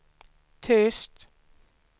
tyst